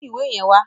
Mú ìwé yẹn wá!